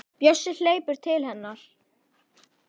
Bjössi hleypur til hennar.